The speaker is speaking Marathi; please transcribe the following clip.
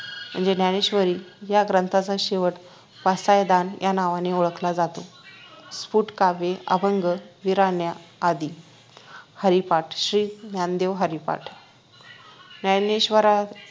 म्हणजे ज्ञानेश्वरी या ग्रंथाचा शेवट पसायदान या नावाने ओळखला जातो स्फुटकाव्ये अभंग विराण्या आदी हरिपाठ श्री ज्ञानदेव हरिपाठ ज्ञानेश्वरा